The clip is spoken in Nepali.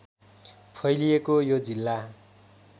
फैलिएको यो जिल्ला